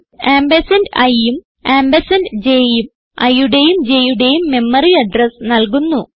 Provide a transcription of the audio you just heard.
ampersand iഉം ampersand j ഉം iയുടേയും j യുടേയും മെമ്മറി അഡ്രസ് നൽകുന്നു